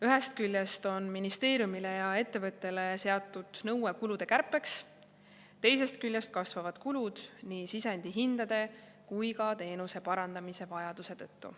Ühest küljest on ministeeriumile ja ettevõttele seatud kulude kärpe nõue, teisest küljest kasvavad kulud nii sisendhindade kui ka teenuse parandamise vajaduse tõttu.